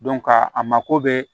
ka a mako bɛ